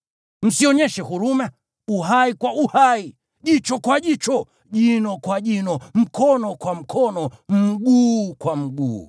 Msionyeshe huruma, uhai kwa uhai, jicho kwa jicho, jino kwa jino, mkono kwa mkono, mguu kwa mguu.